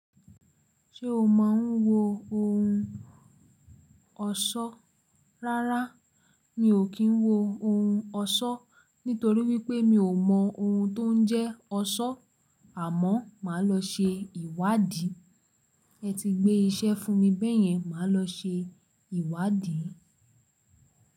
Ṣé o máa ń wo ohun ọ̀ṣọ́? Rárá, mi ò kí ń wo ohun ọ̀ṣọ́ nítorí wípé mi ò mọ ohun tó ń jẹ́ ọ̀ṣọ́. Àmọ́ máa lọ ṣe ìwádìí. Ẹ ti gbé iṣẹ́ fún mi bẹ́yẹn, màá lọ ṣe ìwádìí.